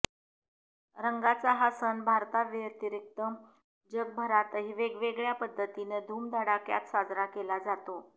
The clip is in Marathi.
रंगांचा हा सण भारताव्यतिरिक्त जगभरातही वेगवेगळ्या पद्धतीनं धुमधडाक्यात साजरा केला जातो